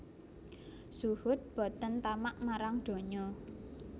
Zuhud boten tamak marang donyo